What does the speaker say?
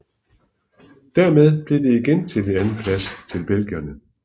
Dermed blev det igen til en andenplads til belgierne